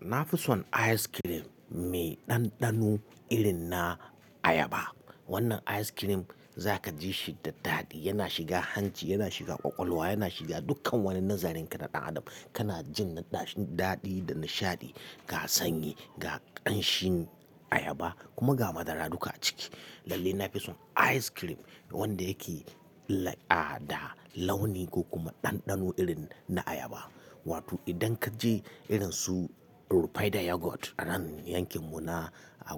Na fi son ice cream mai ɗanɗano irin na ayaba. Wannan ice cream za ka ji shi da daɗi, yana shiga hanci, yana shiga ƙwaƙwalwa, yana shiga dukkan wani nazarin ka na ɗan adam. Kana jin naɗaɗi da nishaɗi, ga sanyi, ga ƙanshin ayaba kuma ga madara duka a ciki. Lalle na fi son ice cream wanda yake da launi ko kuma ɗanɗano irin na ayaba. Wato idan ka je irin su Rufaidah Yogurt a nan yankin mu na